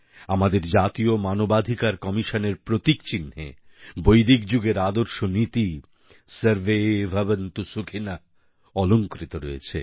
আমাদের জাতীয় মানবাধিকার কমিশনের প্রতীক চিহ্নে বৈদিক যুগের আদর্শ নীতি সর্বে ভবন্তু সুখিনঃ অলংকৃত রয়েছে